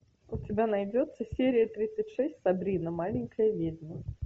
у тебя найдется серия тридцать шесть сабрина маленькая ведьма